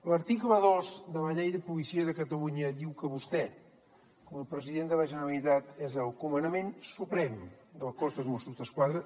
l’article dos de la llei de policia de catalunya diu que vostè com a president de la generalitat és el comandament suprem del cos dels mossos d’esquadra